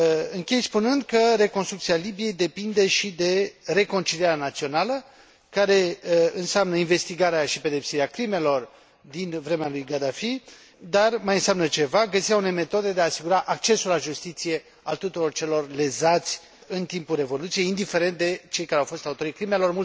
Închei spunând că reconstrucția Libiei depinde și de reconcilierea națională, care înseamnă investigarea și pedepsirea crimelor din vremea lui Gaddafi, dar mai înseamnă ceva găsirea unei metode de a asigura accesul la justiție al tuturor celor lezați în timpul revoluției, indiferent de cei care au fost autorii crimelor.